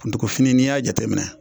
Kuntugufini n'i y'a jateminɛ